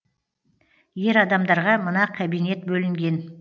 ер адамдарға мына кабинет бөлінген